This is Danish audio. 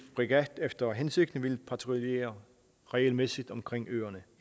fregat efter hensigten vil patruljere regelmæssigt omkring øerne